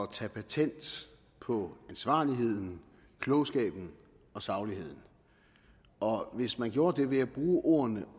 at tage patent på ansvarligheden klogskaben og sagligheden og hvis man gjorde det ved at bruge ordene